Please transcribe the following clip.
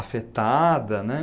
Afetada, né?